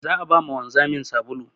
Za a ba ma wanzamin sabulu.